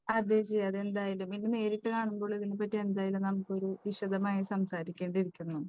അതേ ജിയാദേ എന്തായാലും. ഇനി നേരിട്ട് കാണുമ്പോൾ എന്തായാലും നമുക്ക് ഇതിനെപ്പറ്റി വിശദമായി സംസാരിക്കേണ്ടിയിരിക്കുന്നു.